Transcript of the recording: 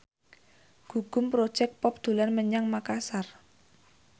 Gugum Project Pop dolan menyang Makasar